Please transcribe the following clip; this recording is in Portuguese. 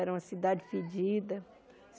Era uma cidade fedida.